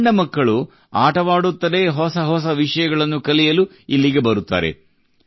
ಸಣ್ಣ ಮಕ್ಕಳು ಆಟವಾಡುತ್ತಲೇ ಹೊಸ ಹೊಸ ವಿಷಯಗಳನ್ನು ಕಲಿಯಲು ಇಲ್ಲಿಗೆ ಬರುತ್ತಾರೆ